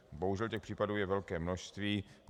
Bohužel těch případů je velké množství.